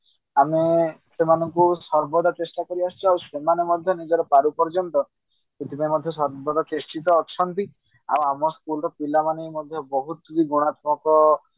ଆମେ ସେମାନଙ୍କୁ ସର୍ବଦା ଚେଷ୍ଟା କରି ଆସୁଛେ ଆଉ ସେମାନେ ମଧ୍ୟ ନିଜର ପାରୁ ପର୍ଯ୍ୟନ୍ତ ସେଥିପାଇଁ ମଧ୍ୟ ସର୍ବଦା ଚେଷ୍ଟିତ ଅଛନ୍ତି ଆଉ ଆମ school ର ପିଲାମାନେ ମଧ୍ୟ ବହୁତ ଗୁଣାତ୍ମକ